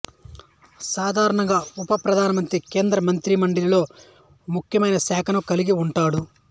సాధారణంగా ఉప ప్రధానమంత్రి కేంద్ర మంత్రిమండలిలో ముఖ్యమైన శాఖను కల్గి ఉంటాడు